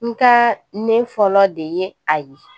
Nka ne fɔlɔ de ye a ye